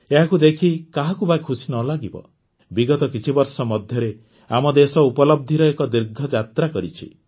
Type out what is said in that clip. ଏହାକୁ ଦେଖି କାହାକୁ ବା ଖୁସି ନ ଲାଗିବ ବିଗତ କିଛି ବର୍ଷ ମଧ୍ୟରେ ଆମ ଦେଶ ଉପଲବ୍ଧିର ଏକ ଦୀର୍ଘ ଯାତ୍ରା କରିଛି